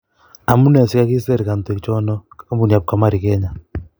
Amune sikakiser kandoik chono kampuni ab kamari Kenya